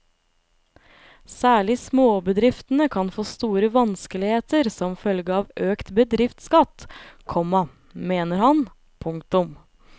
Særlig småbedriftene kan få store vanskeligheter som følge av økt bedriftsskatt, komma mener han. punktum